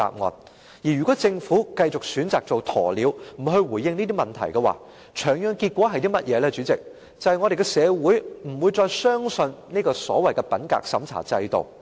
主席，如果政府繼續選擇做鴕鳥，不回應這些問題，長遠的結果是香港社會不會再相信所謂的品格審查制度。